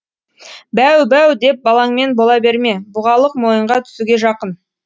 бәу бәу деп балаңмен бола берме бұғалық мойынға түсуге жақын